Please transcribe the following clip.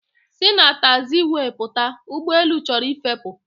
Si na taxiway pụta! ụgbọelu chọrọ ịfepụ